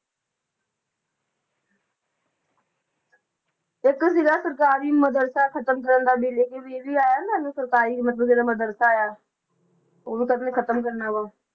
ਇੱਕ ਸੀਗਾ ਸਰਕਾਰੀ ਮਦਰੱਸਾ ਖ਼ਤਮ ਕਰਨ ਦਾ ਬਿੱਲ ਇਹ ਵੀ, ਇਹ ਵੀ ਆਇਆ ਨਾ ਜੋ ਸਰਕਾਰੀ ਮਤਲਬ ਜਿਹੜਾ ਮਦਰੱਸਾ ਆ, ਉਹ ਵੀ ਕਹਿੰਦੇ ਖ਼ਤਮ ਕਰਨਾ ਵਾ।